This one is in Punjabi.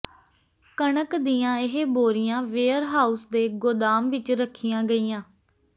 ਕਣਕ ਦੀਆਂ ਇਹ ਬੋਰੀਆਂ ਵੇਅਰ ਹਾਊਸ ਦੇ ਗੋਦਾਮ ਵਿਚ ਰੱਖੀਆਂ ਗਈਆਂ